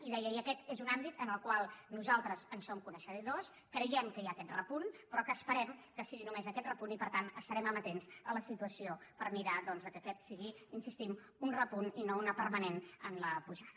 i deia i aquest és un àmbit del qual nosaltres som coneixedors creiem que hi ha aquest repunt però que esperem que sigui només aquest repunt i per tant estarem amatents a la situació per mirar que aquest sigui hi insistim un repunt i no una permanent en la pujada